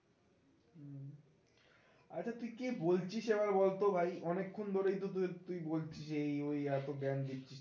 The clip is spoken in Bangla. আচ্ছা তুই কে বলছিস এবার বল তো ভাই অনেক্ষণ ধরেই তো তুই তুই বলছিস এই ওই এত জ্ঞান দিচ্ছিস